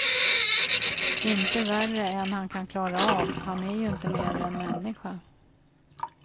Inte värre än han kan klara av, han är ju inte mer än människa.